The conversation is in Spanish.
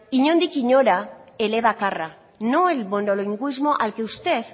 inondik inora elebakarra no el monolingüismo al que usted